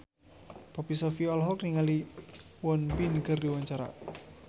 Poppy Sovia olohok ningali Won Bin keur diwawancara